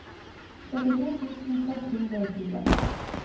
trettito tusen seks hundre og tjue